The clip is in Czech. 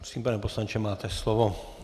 Prosím, pane poslanče, máte slovo.